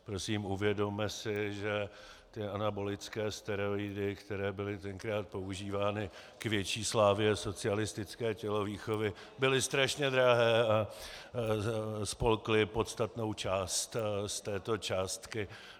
Prosím, uvědomme si, že ty anabolické steroidy, které byly tenkrát používány k větší slávě socialistické tělovýchovy, byly strašně drahé a spolkly podstatnou část z této částky.